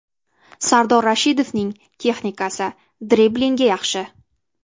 Sardor Rashidovning texnikasi, driblinggi yaxshi.